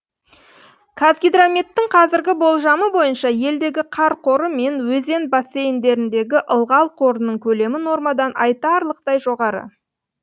қазгидрометтің қазіргі болжамы бойынша елдегі қар қоры мен өзен бассейндеріндегі ылғал қорының көлемі нормадан айтарлықтай жоғары